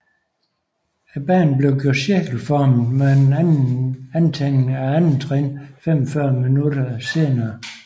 Banen bliver gjort cirkelformet med en anden antænding af andettrinnet 45 minutter senere